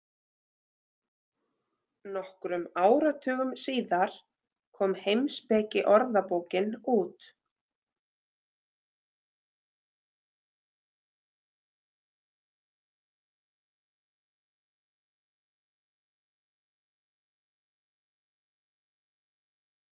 Nokkrum áratugum síðar kom Heimspekiorðabókin út.